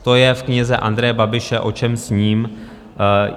To je v knize Andreje Babiše O čem sním.